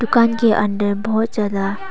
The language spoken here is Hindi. दुकान के अंदर बहुत ज्यादा--